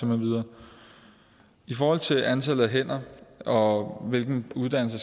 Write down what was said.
med videre i forhold til antallet af hænder og hvilken uddannelse